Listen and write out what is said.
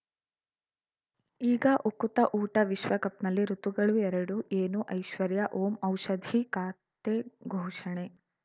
ಈಗ ಉಕುತ ಊಟ ವಿಶ್ವಕಪ್‌ನಲ್ಲಿ ಋತುಗಳು ಎರಡು ಏನು ಐಶ್ವರ್ಯಾ ಓಂ ಔಷಧಿ ಖಾತೆ ಘೋಷಣೆ